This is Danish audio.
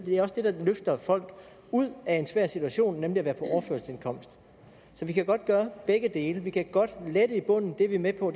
er også det der løfter folk ud af en svær situation nemlig at være på overførselsindkomst så vi kan godt gøre begge dele vi kan godt lette i bunden det er vi med på